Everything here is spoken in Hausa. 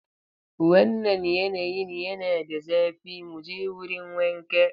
Wannan yanayin yana da zafi, mu je wurin wanka.